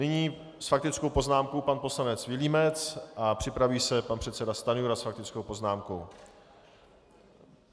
Nyní s faktickou poznámkou pan poslanec Vilímec a připraví se pan předseda Stanjura s faktickou poznámkou.